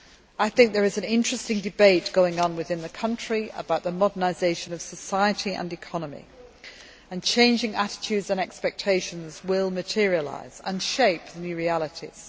I think there is an interesting debate going on within the country about the modernisation of society and economy, and changing attitudes and expectations will materialise and shape the new realities.